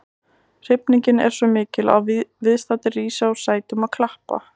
Hrifningin er svo mikil að viðstaddir rísa úr sætum og klappa.